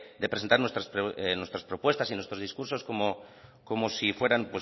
de presentar nuestras propuestas y nuestros discursos como si fueran